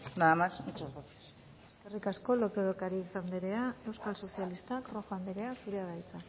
nada más muchas gracias eskerrik asko lópez de ocariz anderea euskal sozialistak rojo anderea zurea da hitza